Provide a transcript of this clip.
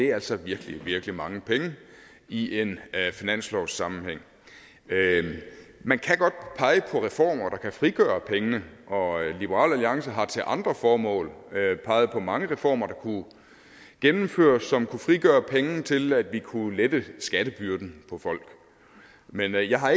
altså virkelig virkelig mange penge i en finanslovssammenhæng man kan godt pege på reformer der kan frigøre pengene og liberal alliance har til andre formål peget på mange reformer der kunne gennemføres som kunne frigøre penge til at vi kunne lette skattebyrden for folk men jeg har